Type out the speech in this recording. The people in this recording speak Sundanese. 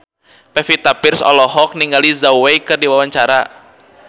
Pevita Pearce olohok ningali Zhao Wei keur diwawancara